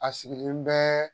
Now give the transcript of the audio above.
A sigilen bɛɛ